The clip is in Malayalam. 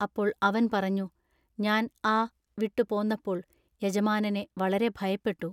അപ്പോൾ അവൻ പറഞ്ഞു:-ഞാൻ ആ---വിട്ടു പോന്നപ്പോൾ യജമാനനെ വളരെ ഭയപ്പെട്ടു.